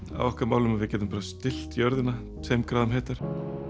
á okkar málum að við getum bara stillt jörðina tveim gráðum heitar